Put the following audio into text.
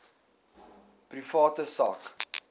private sak